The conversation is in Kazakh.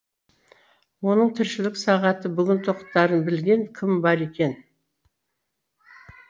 оның тіршілік сағаты бүгін тоқтарын білген кім бар екен